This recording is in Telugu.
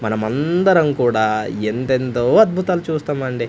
మనమందరం కూడా ఎంతెంతో అద్భుతాలు చూస్తామండి.